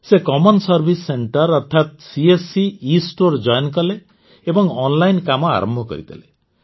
ସେ ସାଧାରଣ ସେବା କେନ୍ଦ୍ର ଅର୍ଥାତ୍ ସିଏସସି ଏଷ୍ଟୋର ଜୋଇନ୍ କଲେ ଏବଂ ଅନଲାଇନ କାମ ଆରମ୍ଭ କରିଦେଲେ